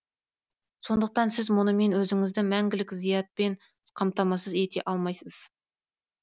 сондықтан сіз мұнымен өзіңізді мәңгілік зиятпен қаматамасыз ете алмайсыз